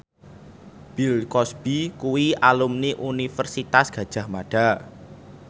Bill Cosby kuwi alumni Universitas Gadjah Mada